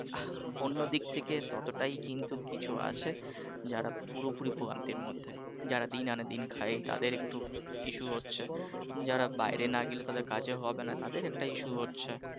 অন্যদিক থেকে ততটাই কিন্তু কিছু আছে যারা পুরোপুরি ভোগান্তির মধ্যে যারা দিন আনে দিন খায় তাদের একটু ইস্যু হচ্ছে যারা বাহিরে নাহ গেলে তাদের কাজ হবে নাহ তাদের একটা issue হচ্ছে